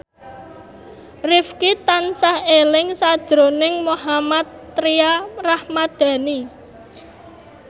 Rifqi tansah eling sakjroning Mohammad Tria Ramadhani